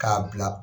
K'a bila